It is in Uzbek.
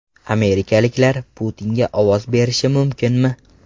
Amerikaliklar Putinga ovoz berishi mumkinmi?